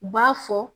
U b'a fɔ